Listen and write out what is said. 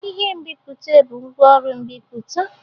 Ihe nbipute bụ ngwaọrụ mmepụta